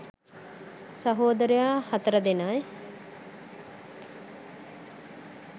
සහෝදරයො හතර දෙනයි.